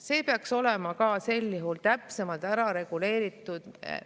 See peaks olema ka sel juhul täpsemalt ära reguleeritud.